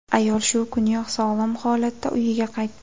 Ayol shu kuniyoq sog‘lom holatda uyiga qaytdi.